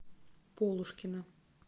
полушкина